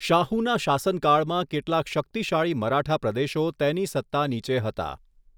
શાહુના શાસનકાળમાં કેટલાંક શકિતશાળી મરાઠા પ્રદેશો તેની સત્તા નીચે હતા.